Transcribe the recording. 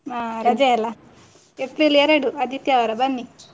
ಹಾ ರಜೆ ಅಲ್ಲ April ಎರಡು ಆದಿತ್ಯವಾರ ಬನ್ನಿ